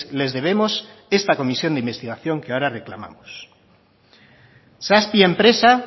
les debemos esta comisión de investigación que ahora reclamamos zazpi enpresa